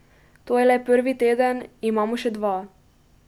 To je le prvi teden, imamo še dva.